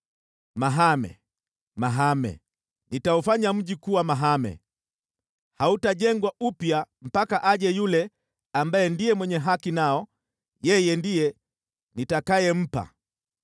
Mahame! Mahame! Nitaufanya mji kuwa mahame! Hautajengwa upya mpaka aje yule ambaye ndiye mwenye haki nao; yeye ndiye nitakayempa.’